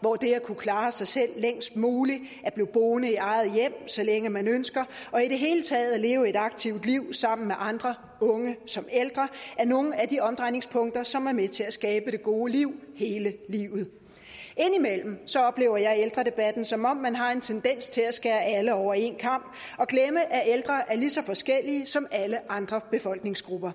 hvor det at kunne klare sig selv længst muligt blive boende i eget hjem så længe man ønsker og i det hele taget leve et aktivt liv sammen med andre unge som ældre er nogle af de omdrejningspunkter som er med til at skabe det gode liv hele livet indimellem oplever jeg ældredebatten som om man har en tendens til at skære alle over en kam og glemme at ældre er lige så forskellige som alle andre befolkningsgrupper